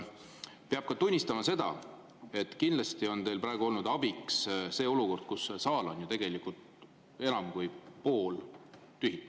Peab tunnistama, et kindlasti on teil praegu abiks olnud olukord, kus see saal on tegelikult enam kui pooltühi.